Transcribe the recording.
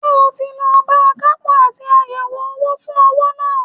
Ṣé o ti lọ bá akapo àti àyẹ̀wò owó fún owó náà?